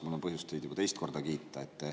Mul on põhjust teid juba teist korda kiita.